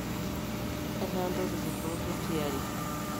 etaa ntokitin pooki tiari